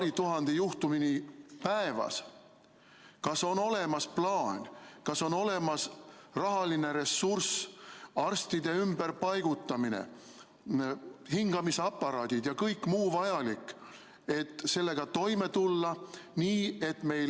... paari tuhane juhtumini päevas, siis kas on olemas plaan, kas on olemas rahaline ressurss, kava arstide ümberpaigutamiseks, hingamisaparaadid ja kõik muu vajalik, et sellega toime tulla nii, et meil ...